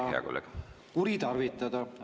Aeg, hea kolleeg!